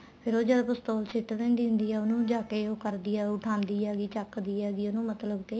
ਫ਼ੇਰ ਉਹ ਜਦ ਪਿਸਤੋਲ ਸਿੱਟ ਦਿੰਦੀ ਹੁੰਦੀ ਏ ਉਹਨੂੰ ਜਾਕੇ ਉਹ ਕਰਦੀ ਹੁੰਦੀ ਏ ਉੱਠਾਦੀ ਹੈਗੀ ਚੱਕਦੀ ਹੈਗੀ ਉਹਨੂੰ ਮਤਲਬ ਕੇ